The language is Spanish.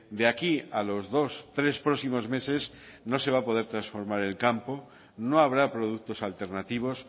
de aquí a los dos tres próximos meses no se va a poder transformar el campo no habrá productos alternativos